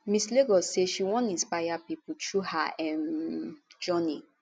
miss lagos say she wan inspire pipo through her um journey